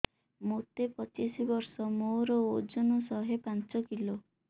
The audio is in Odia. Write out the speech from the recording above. ମୋତେ ପଚିଶି ବର୍ଷ ମୋର ଓଜନ ଶହେ ପାଞ୍ଚ କିଲୋ